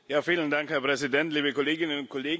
Herr Präsident, liebe Kolleginnen und Kollegen!